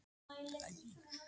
Jónas lítur út um gluggann.